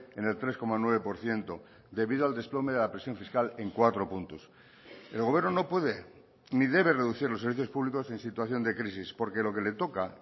en el tres coma nueve por ciento debido al desplome de la presión fiscal en cuatro puntos el gobierno no puede ni debe reducir los servicios públicos en situación de crisis porque lo que le toca